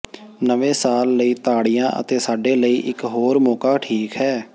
ਨਵੇਂ ਸਾਲ ਲਈ ਤਾੜੀਆਂ ਅਤੇ ਸਾਡੇ ਲਈ ਇਕ ਹੋਰ ਮੌਕਾ ਠੀਕ ਹੈ